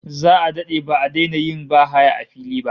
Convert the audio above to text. Za'a dade ba'a daina yin bahaya a fili ba